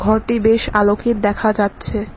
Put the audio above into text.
ঘরটি বেশ আলোকের দেখা যাচ্ছে।